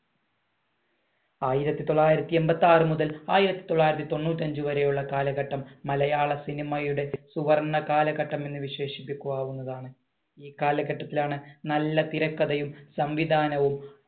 ആയിരത്തി തൊള്ളായിരത്തി എൺപത്തി ആറുമുതൽ ആയിരത്തി തൊള്ളായിരത്തി തൊണ്ണൂറ്റി അഞ്ച് വരെയുള്ള കാലഘട്ടം മലയാള സിനിമയുടെ സുവർണ്ണ കാലഘട്ടം എന്ന് വിശേഷിപ്പിക്കപ്പെടാവുന്നതാണ്. ഈ കാലഘട്ടത്തിലാണ് നല്ല തിരക്കഥയും സംവിധാനവും